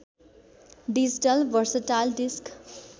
digital versatile disk